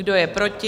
Kdo je proti?